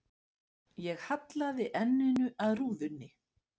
Ég hallaði enninu að rúðunni.